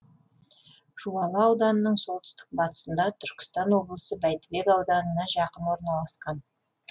жуалы ауданының солтүстік батысында түркістан облысы бәйдібек ауданына жақын орналасқан